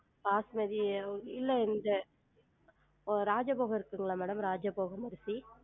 பாஸ்மதி இல்ல இந்த ராஜபோகம் இருக்குங்களா madam ராஜபோகம் அரிசி?